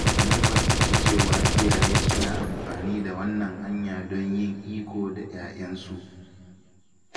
Mun fahimci cewa iyaye suna amfani da wannan hanya don yin iko da ‘ya’yan su